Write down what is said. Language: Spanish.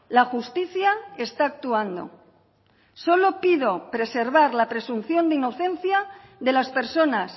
la justicia está actuando solo pido preservar la presunción de inocencia de las personas